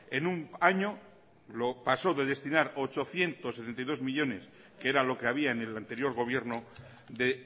en un año lo pasó de destinar ochocientos setenta y dos millónes que era lo que había en el anterior gobierno de